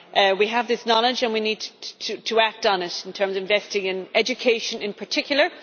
We have this knowledge and we need to act on it in terms of investing in education, in particular.